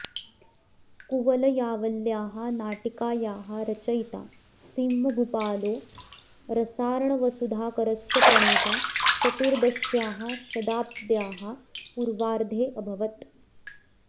कुवलयावल्याः नाटिकायाः रचयिता सिंहभूपालो रसार्णवसुधाकरस्य प्रणेता चतुर्दश्याः शताब्द्याः पूर्वार्धेऽभवत्